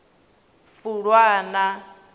fulwana